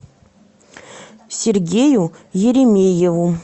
сергею еремееву